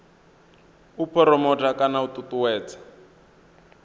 u phuromotha kana u ṱuṱuwedza